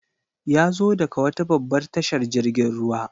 Yazo daga wata babbar tashar jirgin ruwa.